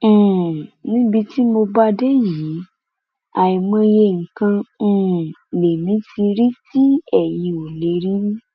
um níbi tí mo bá a dé yìí àìmọye nǹkan um lèmi ti rí tí eyín ò lè rí